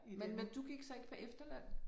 Men men du gik så ikke på efterløn?